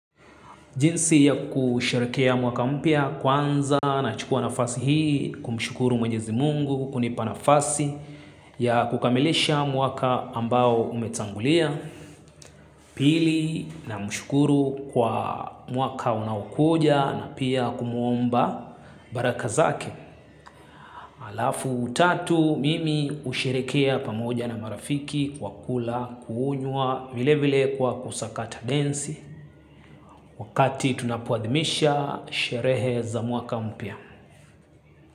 Jinsi ya kusherehekea mwaka mpya kwanza nachukua nafasi hii kumshukuru mwenyezi mungu kunipa nafasi ya kukamilisha mwaka ambao umetangulia pili namshukuru kwa mwaka unaokuja na pia kumwomba baraka zake. Alafu tatu mimi husherehekea pamoja na marafiki kwa kula, kunywa vile vile kwa kusakata densi wakati tunapoadhimisha sherehe za mwaka mpya.